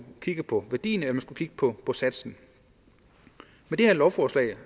kigge på værdien eller man skulle kigge på satsen med det her lovforslag